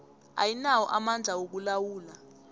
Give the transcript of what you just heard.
ayinawo amandla wokulawula